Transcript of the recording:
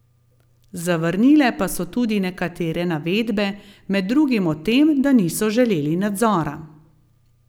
Zavrnile pa so tudi nekatere navedbe, med drugim o tem, da niso želeli nadzora.